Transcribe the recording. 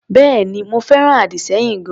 Bẹ́èni, mo fẹ́ràn àdì-sẹ́yìn gan-an.